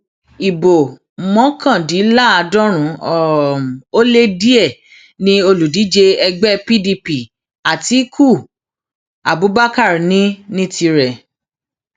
ibo mọkàndínláàádọrùn um ó lé díẹ ni olùdíje ẹgbẹ pdp àtikukú abubakar ní um ní tirẹ